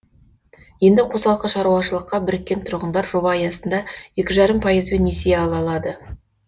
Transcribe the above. енді қосалқы шаруашыққа біріккен тұрғындар жоба аясында екі жарым пайызбен несие ала алады